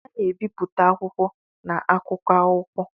A na-ebipụta akwụkwọ na akụkọ akwụkwọ.